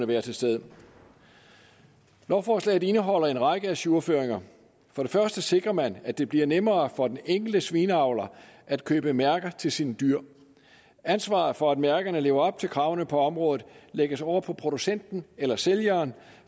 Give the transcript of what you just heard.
være til stede lovforslaget indeholder en række ajourføringer for det første sikrer man at det bliver nemmere for den enkelte svineavler at købe mærker til sine dyr ansvaret for at mærkerne lever op til kravene på området lægges over på producenten eller sælgeren